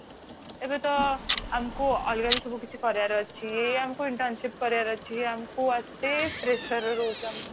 ଏବେ ତ ଆମକୁ ଅଲଗା ବି ସବୁ କରିବାର ଅଛି ଏଇ ଆମକୁ internship କରିବାର ଅଛି ଏଇ ଆମକୁ ଏତେ pressure ରେ ରାହୁଛୁ ଆମେ